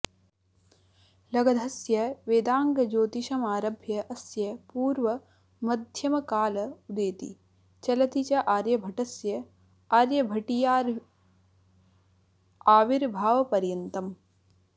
लगधस्य वेदाङ्गज्योतिषमारभ्यास्य पूर्वमध्यमकाल उदेति चलति च आर्यभटस्य आर्यभटीयाविर्भावपर्यन्तम्